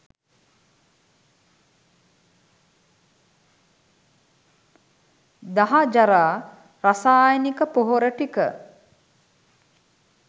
දහජරා රසායනික පොහොර ටික